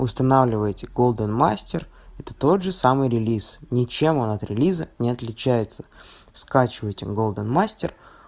устанавливаете голден мастер это тот же самый релиз ничем анатри лиза не отличается скачиваете голден мастер